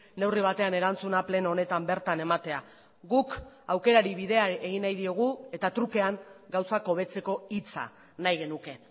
neurri batean erantzuna pleno honetan bertan ematea guk aukerari bidea egin nahi diogu eta trukean gauzak hobetzeko hitza nahi genuke